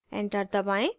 enter दबाएँ